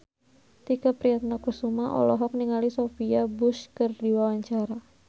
Tike Priatnakusuma olohok ningali Sophia Bush keur diwawancara